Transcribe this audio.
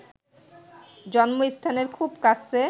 জন্মস্থানের খুব কাছে